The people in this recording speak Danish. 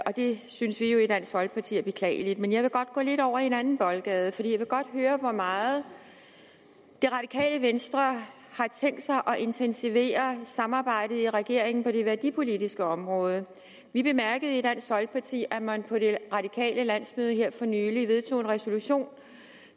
og det synes vi jo i dansk folkeparti er beklageligt men jeg vil gå lidt over i anden boldgade for jeg vil godt høre hvor meget det radikale venstre har tænkt sig at intensivere samarbejdet i regeringen på det værdipolitiske område vi bemærkede i dansk folkeparti at man på det radikale landsmøde her for nylig vedtog en resolution